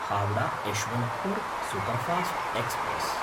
Howrah-Yesvantpur superfast express